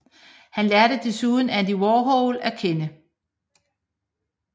Han lærte desuden Andy Warhol at kende